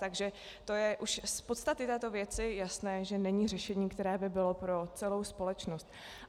Takže to je už z podstaty této věci jasné, že není řešením, které by bylo pro celou společnost.